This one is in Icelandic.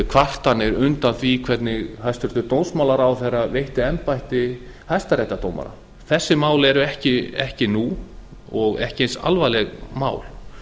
kvartanir undan því hvernig hæstvirtur dómsmálaráðherra veitti embætti hæstaréttardómara þessi mál eru ekki nú og ekki eins alvarleg mál